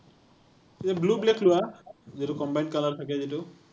blue black লোৱা, যিতো combine color থাকে যিতো।